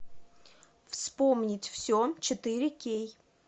вспомнить все четыре кей